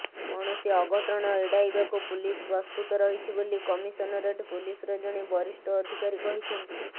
କୌଣସି ଅଘଟଣ ଏଡ଼ାଇବାକୁ ପୁଲିସ ପ୍ରସ୍ତୁତ ରହିଛି ବୋଲି କମିସନରେଟ୍ ପୁଲିସର ଜଣେ ବରିଷ୍ଠ ଅଧିକାରୀ କହିଛନ୍ତି